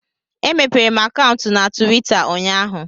Emepere m akaụntụ na Tuwita ụnyaahụ